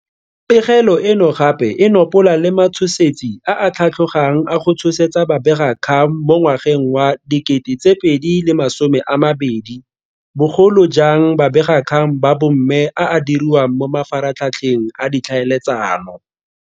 Pegelo eno gape e nopola le matshosetsi a a tlhatlhogang a go tshosetsa babegakgang mo ngwageng wa 2020, bogolo jang babegakgang ba bomme a a diriwang mo mafaratlhatlheng a ditlhaeletsano.